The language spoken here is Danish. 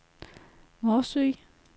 Morsø